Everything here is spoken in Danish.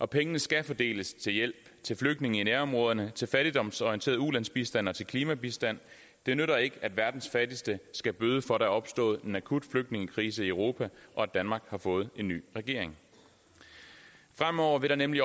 pengene skal fordeles til hjælp til flygtninge i nærområderne til fattigdomsorienteret ulandsbistand og til klimabistand det nytter ikke at verdens fattigste skal bøde for er opstået en akut flygtningekrise i europa og at danmark har fået en ny regering fremover vil der nemlig